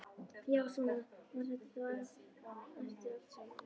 Já, svona var þetta þá eftir allt saman.